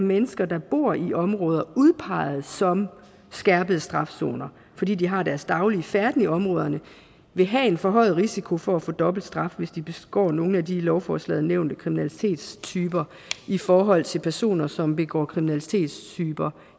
mennesker der bor i områder udpeget som skærpet straf zoner fordi de har deres daglige færden i områderne vil have en forhøjet risiko for at få dobbelt straf hvis de begår nogle af de i lovforslaget nævnte kriminalitetstyper i forhold til personer som begår kriminalitetstyper